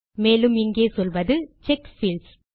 மேலும் இங்கே சொல்வது செக் பீல்ட்ஸ்